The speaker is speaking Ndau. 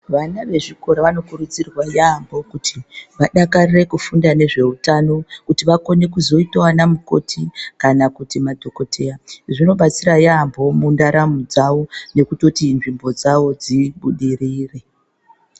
Vana vezvikora vanokurudzirwa yamho, kuti vadakarire kufunda nezveutano, kuti vakone kuzoyitawo vana mukoti kana kuti madhokodheya, zvinobatsira yamho mundaramo dzavo, nokutoti nzvimbo dzavo dzibudirire.